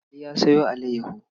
Ali ya sayo alayyaho.